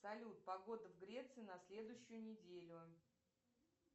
салют погода в греции на следующую неделю